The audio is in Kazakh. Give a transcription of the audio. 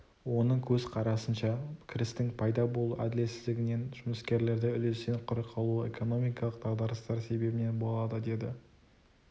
оның көзқарасынша кірістің пайда болу әділетсіздігінен жұмыскерлерді үлестен құр қалуы экономикалық дағдарыстар себебінен болады деді